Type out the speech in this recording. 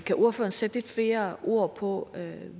kan ordføreren sætte lidt flere ord på